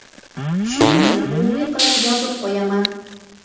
Shuning uchun umumiy qilib yozib qo‘yaman.